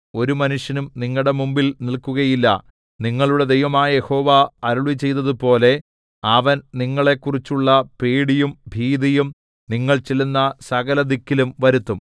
ഒരു മനുഷ്യനും നിങ്ങളുടെ മുമ്പിൽ നില്‍ക്കുകയില്ല നിങ്ങളുടെ ദൈവമായ യഹോവ അരുളിച്ചെയ്തതുപോലെ അവൻ നിങ്ങളെക്കുറിച്ചുള്ള പേടിയും ഭീതിയും നിങ്ങൾ ചെല്ലുന്ന സകലദിക്കിലും വരുത്തും